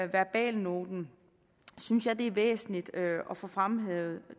verbalnoten synes jeg det er væsentligt at få fremhævet